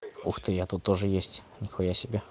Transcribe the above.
ух ты я тут тоже есть нихуя себе